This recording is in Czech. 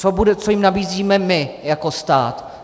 Co jim nabízíme my jako stát?